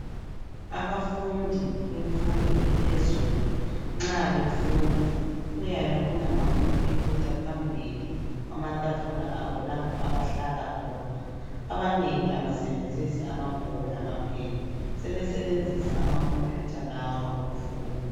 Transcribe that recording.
abafundi bemfundo ephezulu nxa befunda kuyabe kulama computer phambili kwamatafula abo lapho abahlala khona abanengi abasebenzisi amabhuku lama pen sebesenzisa ama computer lawa ukufunda